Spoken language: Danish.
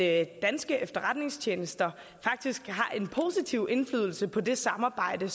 at danske efterretningstjenester faktisk har en positiv indflydelse på det samarbejde